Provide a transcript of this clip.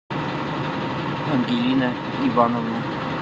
ангелина ивановна